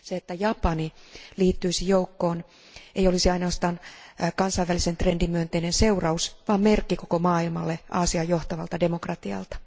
Se, että Japani liittyisi joukkoon, ei olisi ainoastaan kansainvälisen trendin myönteinen seuraus, vaan merkki koko maailmalle Aasian johtavalta demokratialta.